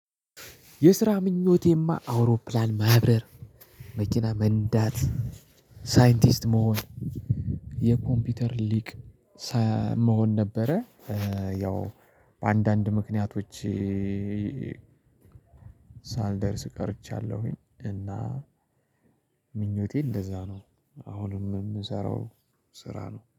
የስራ ምኞቴማ፤ አውሮፕላን ማብረር፣ መኪና መንዳት፣ ሳይንቲስት መሆን የኮምፒውተር ሊቅ ሳ መሆን ነበረ ያው በአንዳንድ ምክንያቶች ሳልደርስ ቀርቻለሁኝ እና ምኞቴ እንደዛ ነው። አሁንም የምሰራው ስራ ነው።